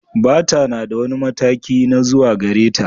Bata na da wani mataki na rawa zuwa gare ta.